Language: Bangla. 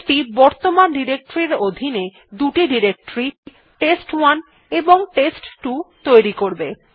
এইটি বর্তমান ডিরেক্টরীর অধীনে দুটি ডিরেক্টরী টেস্ট1 এবং টেস্ট2 তৈরি করবে